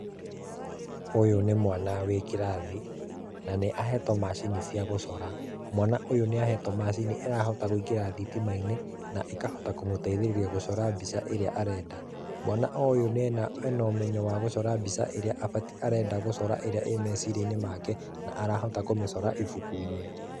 Ũyũ nĩ mwana wĩ kĩrathi, na nĩahetwo macini cia gũcora. Mwana ũyũ nĩ ahetwo macini ĩrahota gwĩkira thitima-inĩ, na cikahota kũmũteithĩrĩria gũcora mbica ĩrĩa arenda. Mwana o ũyũ ena ũmenyo wa gũcora mbica ĩrĩa arenda gũcora, ĩria ĩ meciria-inĩ make, na arahota kũmĩcora ibuku-inĩ.